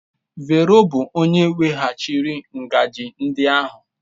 Vero bụ onye weghachiri ngaji ndị ahụ.